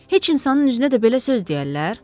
Heç insanın üzünə də belə söz deyərlər?